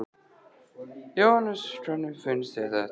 Jóhannes: Hvernig finnst þér þetta?